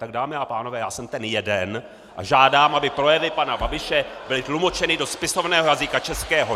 Tak dámy a pánové, já jsem ten jeden a žádám, aby projevy pana Babiše byly tlumočeny do spisovného jazyka českého!